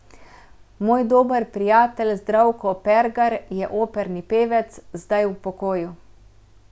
Moj dober prijatelj Zdravko Pergar je operni pevec, zdaj v pokoju.